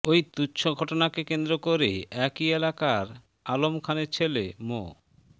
ওই তুচ্ছ ঘটনাকে কেন্দ্র করে একই এলাকার আলম খানের ছেলে মো